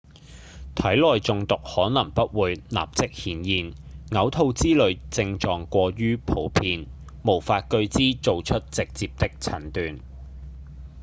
體內中毒可能不會立即顯現嘔吐之類症狀過於普遍無法據之做出直接的診斷